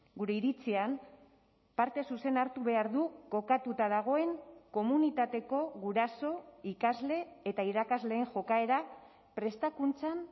gure iritzian parte zuzena hartu behar du kokatuta dagoen komunitateko guraso ikasle eta irakasleen jokaera prestakuntzan